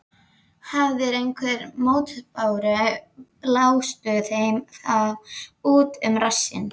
Hafirðu einhverjar mótbárur, blástu þeim þá út um rassinn.